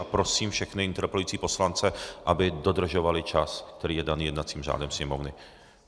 A prosím všechny interpelující poslance, aby dodržovali čas, který je daný jednacím řádem Sněmovny.